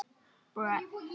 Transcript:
Okkur vantar fólk.